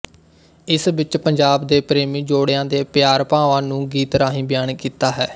ਇਸ ਵਿੱਚ ਪੰਜਾਬ ਦੇ ਪ੍ਰੇਮੀ ਜੋੜਿਆਂ ਦੇ ਪਿਆਰ ਭਾਵਾਂ ਨੂੰ ਗੀਤ ਰਾਹੀਂ ਬਿਆਨ ਕੀਤਾ ਹੈ